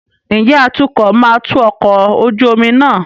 Ǹjẹ́ atukọ̀ máa tu ọkọ̀ ojú omi náà?